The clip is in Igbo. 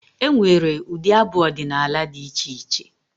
E nwere ụdị abụ odịnaala dị iche iche.